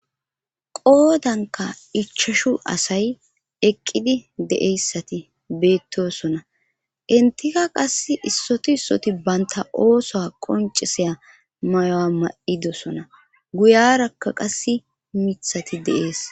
Qoodanka ichashu asay eqqidi de'eyssati beettosona intika qas issoti issoti baynta oosoa qonciseya mayo'a ma'idosona guyarakka qas mithati deees